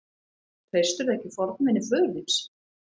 Treystirðu ekki fornvini föður þíns?